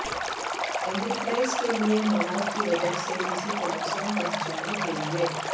enterprise کے لئے مواد کی وجہ سے کسی کو نقصان پہنچانے کے لئے